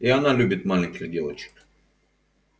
и она любит маленьких девочек